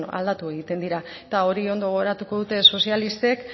aldatu egiten dira eta hori ondo gogoratu dute sozialistek